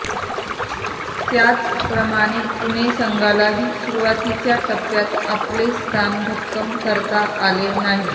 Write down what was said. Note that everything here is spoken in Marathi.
त्याचप्रमाणे पुणे संघालाही सुरूवातीच्या टप्प्यात आपले स्थान भक्कम करता आले नाही